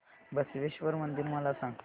बसवेश्वर मंदिर मला सांग